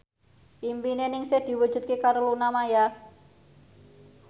impine Ningsih diwujudke karo Luna Maya